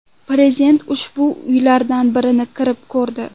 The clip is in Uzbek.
Prezident ushbu uylardan birini kirib ko‘rdi.